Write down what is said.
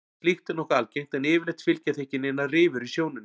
Slíkt er nokkuð algengt en yfirleitt fylgja því ekki neinar rifur í sjónunni.